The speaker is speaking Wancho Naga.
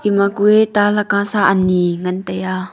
ema kue ta lakka sa ani ngan tai a.